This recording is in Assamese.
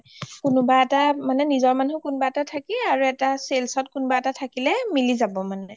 কোনোৱা এটা মানে নিজৰ মানুহ কোনোৱা এটা থাকি আৰু এটা sales ত থাকিলে মিলি যাব মানে